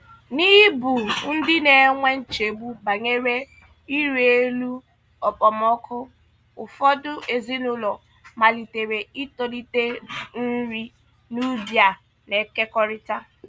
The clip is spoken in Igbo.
N'ịbụ ndị na-enwe nchegbu banyere ịrị elu okpomọkụ, ụfọdụ ezinụlọ malitere itolite nri n'ubi a na-ekekọrịta.